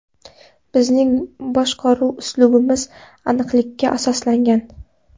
Bizning boshqaruv uslubimiz aniqlikka asoslangan.